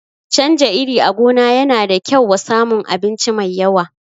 Canja iri a gona yana da kyau wa samun abinci mai yawa